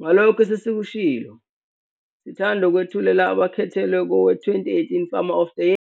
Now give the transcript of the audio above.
Ngalokho esesikushilo, sithanda ukukwethulela abakhethelwe kowe-2018 Farmer of the Year!